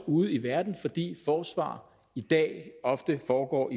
ude i verden fordi forsvar i dag i virkeligheden ofte foregår